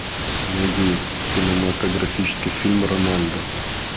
найди кинематографический фильм рональдо